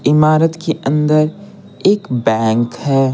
इमारत के अंदर एक बैंक है।